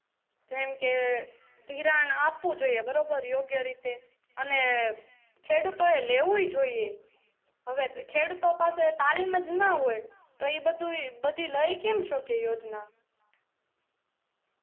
જેમકે ધિરાણ આપવું જોઈએ બરોબર યોગ્ય રીતે અને ખેડૂતો એ લેવવું જોઈએ હવે ખેડૂતો પાસે તાલીમ જ ના હોય તો એ બધુય બધી લઇ કેમ શકે યોજના